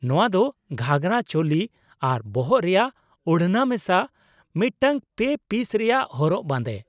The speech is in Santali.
ᱱᱚᱶᱟ ᱫᱚ ᱜᱷᱟᱜᱨᱟ, ᱪᱳᱞᱤ ᱟᱨ ᱵᱚᱦᱚᱜ ᱨᱮᱭᱟᱜ ᱳᱲᱱᱟ ᱢᱮᱥᱟ ᱢᱤᱫᱴᱟᱝ ᱯᱮ ᱯᱤᱥ ᱨᱮᱭᱟᱜ ᱦᱚᱨᱚᱜ ᱵᱟᱸᱫᱮ ᱾